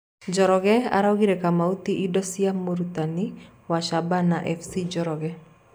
Njoroge araugire Kamau ti indo cia mũrutani wa Shabana fc Njoroge.